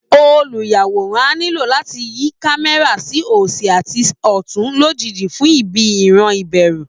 Olùyàwòrán á nílò láti yí kámẹ́rà sí òsì àti ọ̀tún lójijì fún ibi ìran ìbẹ̀rù